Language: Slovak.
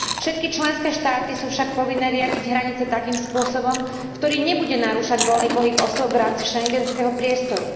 Všetky členské štáty sú však povinné riadiť hranice takým spôsobom, ktorý nebude narúšať voľný pohyb osôb v rámci schengenského priestoru.